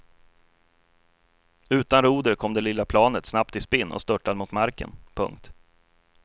Utan roder kom det lilla planet snabbt i spinn och störtade mot marken. punkt